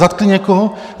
Zatkli někoho?